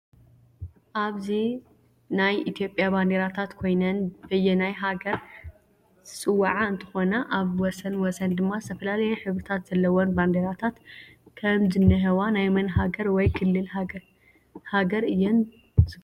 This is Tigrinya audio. እዚ ናይ ኢትዮጱያ ባንዴራታት ኮይነን ብየናይ ሃገር ዝፅዋዓ እንትኮና ኣብ ወሰን ወሰን ድማ ዝተፈላላየ ሕብሪታት ዘሎዎ ባንደራታት ከም ዝንህዋ ናይ መን ሃገሪ ወይ ክሊል ሃገር እየን ግለፁ?